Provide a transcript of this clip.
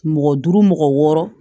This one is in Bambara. Mɔgɔ duuru mɔgɔ wɔɔrɔ